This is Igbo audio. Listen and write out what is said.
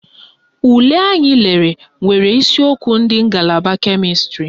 Ule anyị lelere nwere isiokwu ndị ngalaba kemịstrị